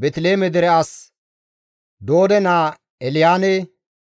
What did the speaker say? Beeteliheeme dere as Doode naa Elyaane,